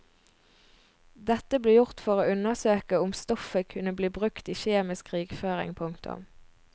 Dette ble gjort for å undersøke om stoffet kunne bli brukt i kjemisk krigføring. punktum